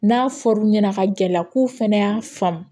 N'a fɔr'u ɲɛna ka gɛlɛya k'u fana y'a faamu